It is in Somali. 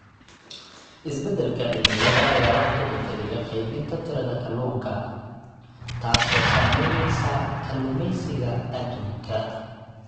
Isbeddelka cimilada ayaa wax ka beddelaya qaybinta tirada kalluunka, taas oo saameynaysa kalluumeysiga adduunka.